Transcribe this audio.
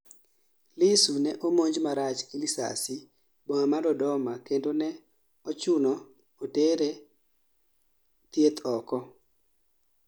Lissu ne omonj marach gi lisasi boma ma Dodoma kendo ne ochuno otere thieth oko